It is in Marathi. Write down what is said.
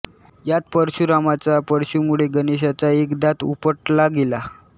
यात परशुरामांच्या परशुमुळे गणेशाचा एक दात उपटला गेला